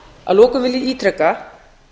að lokum vil ég ítreka